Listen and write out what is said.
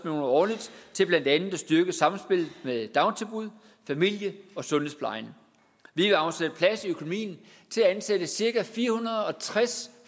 årligt til blandt andet at styrke samspillet mellem dagtilbud familie og sundhedsplejen vi vil afsætte plads i økonomien til at ansætte cirka fire hundrede og tres